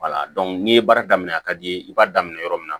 n'i ye baara daminɛ a ka d'i ye i b'a daminɛ yɔrɔ min na